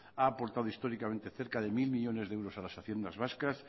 ha aportado históricamente cerca de mil millónes de euros a las haciendas vascas